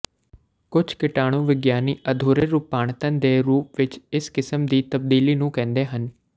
ਕੁਝ ਕੀਟਾਣੂ ਵਿਗਿਆਨੀ ਅਧੂਰੇ ਰੂਪਾਂਤਰਣ ਦੇ ਰੂਪ ਵਿਚ ਇਸ ਕਿਸਮ ਦੀ ਤਬਦੀਲੀ ਨੂੰ ਕਹਿੰਦੇ ਹਨ